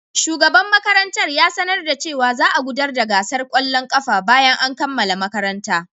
Shugaban makarantar ya sanar da cewa za a gudanar da gasar kwallon kafa bayan an kammala makaranta.